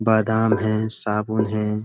बादाम हैं साबुन हैं।